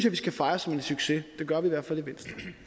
vi skal fejre som en succes det gør vi